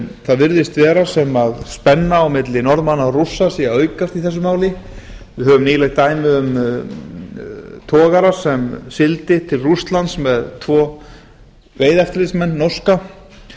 það virðist vera sem spenna á milli norðmanna og rússa sé að aukast í þessu máli við höfum nýlegt dæmi um togara sem sigldi til rússlands með tvo veiðieftirlitsmenn norska